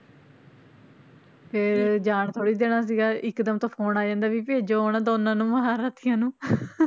ਤੇ ਜਾਣ ਥੋੜ੍ਹੀ ਦੇਣਾ ਸੀਗਾ ਇੱਕ ਦਮ ਤਾਂ phone ਆ ਜਾਂਦਾ ਵੀ ਭੇਜੋ ਉਹਨਾਂ ਦੋਨਾਂ ਨੂੰ ਮਹਾਂਰਥੀਆਂ ਨੂੰ